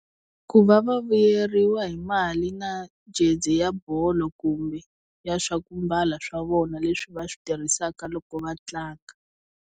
Ku va va vuyeriwa hi mali na jezi ya bolo kumbe ya swa ku mbala swa vona leswi va swi tirhisaka loko va tlanga.